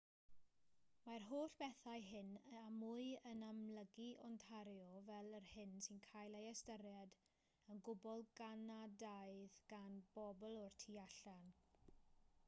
mae'r holl bethau hyn a mwy yn amlygu ontario fel yr hyn sy'n cael ei ystyried yn gwbl ganadaidd gan bobl o'r tu allan